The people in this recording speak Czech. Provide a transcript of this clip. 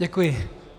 Děkuji.